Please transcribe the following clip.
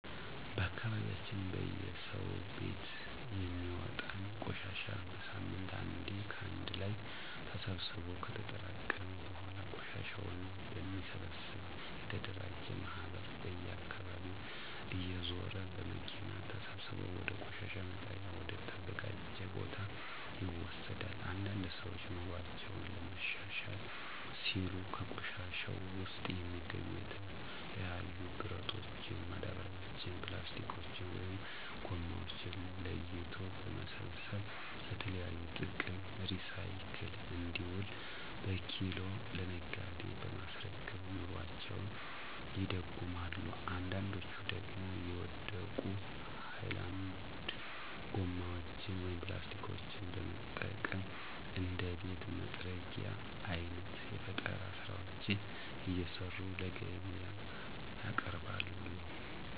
በአካባቢያችን በየሰው ቤት የሚወጣን ቆሻሻ በሳምንት አንዴ ከአንድ ላይ ተሰብስቦ ከተጠራቀመ በኃላ ቆሻሻን በሚሰበሰብ የተደራጀ ማህበር በየአካባቢው እየዞረ በመኪና ተሰብስቦ ወደ ቆሻሻ መጣያ ወደ ተዘጀው ቦታ ይወሰዳል። አንዳንድ ሰዎች ኑሮአቸውን ለማሻሻል ሲሉ ከቆሻሻው ውስጥ የሚገኙ የተለያዩ ብረቶችን፣ ማዳበሪያዎችን፣ ፕላስቲኮችን(ጎማዎችን) ለይቶ በመሰብሰብ ለተለያዩ ጥቅም ሪሳይክል እንዲውሉ በኪሎ ለነጋዴ በማስረከብ ኑሮአቸውን ይደጉማሉ አንዳንዶች ደግሞ የወደቁ ሀይላንድ ጎማዎችን (ፕላስቲኮችን) በመጠቀም እንደ ቤት መጥረጊያ አይነት የፈጠራ ስራዎችን እየሰሩ ለገቢያ ያቀርባሉ።